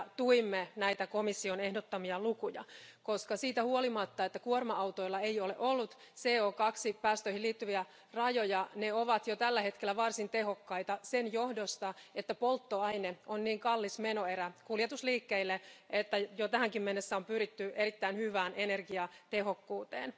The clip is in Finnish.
Tuimme näitä komission ehdottomia lukuja, koska siitä huolimatta, että kuorma autoilla ei ole ollut CO2 päästöihin liittyviä rajoja, ne ovat jo tällä hetkellä varsin tehokkaita sen johdosta, että polttoaine on niin kallis menoerä kuljetusliikkeille, että jo tähänkin mennessä on pyritty erittäin hyvään energiatehokkuuteen.